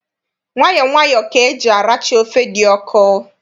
Nwayọ nwayọ ka eji aracha ofe dị ọkụ.